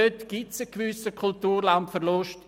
Dort gibt es einen gewissen Kulturlandverlust.